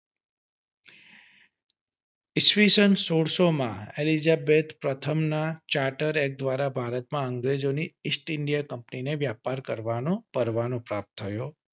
ઈસ્વીસન સોળસો માં એલીઝાબેથ પ્રથમ ના ચાર્ટર્ડ એક્ટ દ્વારા ભારતમાં અંગ્રેજો ની ઇસ્ટ ઇન્ડિયન કંપની ને વ્યાપાર કરવાનો પરવાનો પ્રાપ્ત થયો